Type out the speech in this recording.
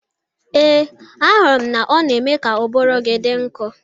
Ee, ahụrụ m na ọ na-eme ka ụbụrụ gi dị nkọ